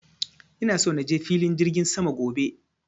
ina so naje filin jirgin sama gobe